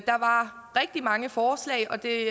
der var rigtig mange forslag og det